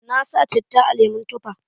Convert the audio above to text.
Na sa citta a lemon tufa.